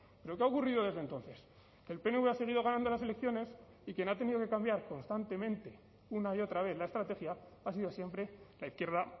pero qué ha ocurrido desde entonces que el pnv ha seguido ganando las elecciones y quien ha tenido que cambiar constantemente una y otra vez la estrategia ha sido siempre la izquierda